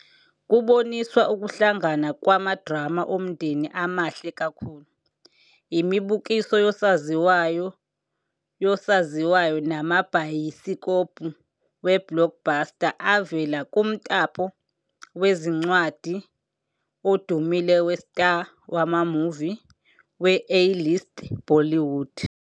Kuboniswa ukuhlangana kwamadrama omndeni amahle kakhulu, imibukiso yosaziwayo yosaziwayo namabhayisikobho we-blockbuster avela kumtapo wezincwadi odumile we-Star wama-movie we-A-List Bollywood.